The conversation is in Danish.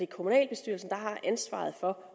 kommunalbestyrelsen der har ansvaret for